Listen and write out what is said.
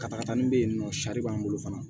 Katakatani bɛ yen nɔ sari b'an bolo fana